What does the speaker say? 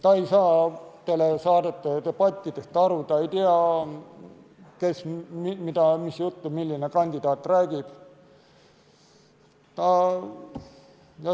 Ta ei saa teledebattidest aru, ta ei tea, kes mis juttu räägib.